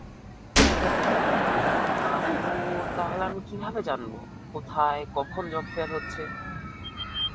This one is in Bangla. আপু, তাহলে আমি কিভাবে জানব? কোথায় কখন job fair হচ্ছে?